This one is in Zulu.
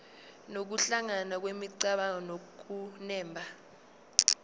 nokuhlangana kwemicabango nokunemba